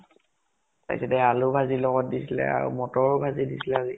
তাৰ পিছতে আলু ভাজি লগত দিছিলে আৰু মতৰো ভাজি দিছিলে আজি